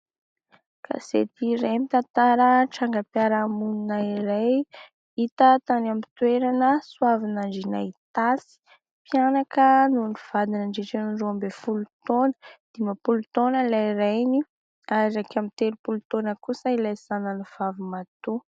Gazety iray mitantara tranga-piaramonina iray hita tany aminy toerana Soavinandriana Itasy. Mpianaka no nivadina nandritra ny roa ambin'ny folo taona. Dimapolo taona ilay rainy ary iraika amin'ny telopolo taona kosa ilay zanany vavy matoa.